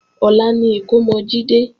Ọ̀la ni ìkómọ Jídé